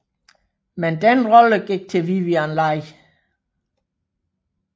Men den rolle gik til Vivien Leigh